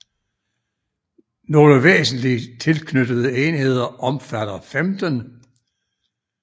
Nogle væsentlige tilknyttede enheder omfatter 15